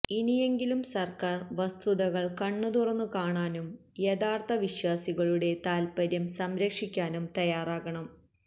ഇനിയെങ്കിലും സര്ക്കാര് വസ്തുതകള് കണ്ണുതുറന്നു കാണുാനും യഥാര്ഥ വിശ്വാസികളുടെ താത്പപര്യം സംരക്ഷിക്കാനും തയാറാകണം